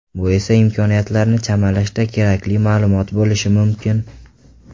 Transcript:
Bu esa imkoniyatlarni chamalashda kerakli ma’lumot bo‘lishi mumkin.